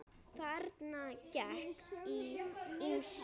Þarna gekk á ýmsu.